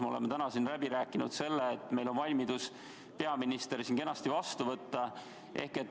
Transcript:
Me oleme täna kinnitanud, et meil on valmidus peaminister siin kenasti vastu võtta.